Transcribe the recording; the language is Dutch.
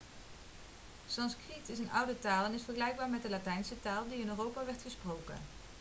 sanskriet is een oude taal en is vergelijkbaar met de latijnse taal die in europa wordt gesproken